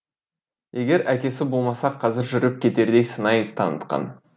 егер әкесі болмаса қазір жүріп кетердей сыңай танытқан